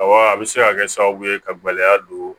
A bɛ se ka kɛ sababu ye ka baliya don